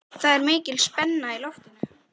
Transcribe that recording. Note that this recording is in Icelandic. Það er mikil spenna í loftinu.